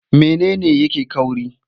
Mene ne yake ƙauri?